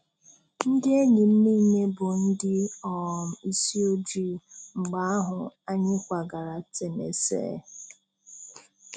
Ndị enyi m niile bụ ndị um isi ojii. Mgbe ahụ, anyị kwagara Tennessee.